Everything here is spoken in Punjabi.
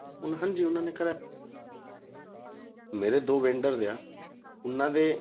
ਹਾਂਜੀ ਉਹਨਾਂ ਨੇ ਕਰਵਾਇਆ ਮੇਰੇ ਦੋ vendors ਆ ਉਹਨਾਂ ਦੇ